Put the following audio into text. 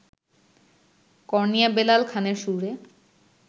কর্ণিয়া বেলাল খানের সুরে